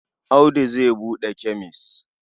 Audu zai buɗe kemes.